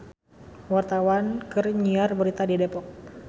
Wartawan keur nyiar berita di Depok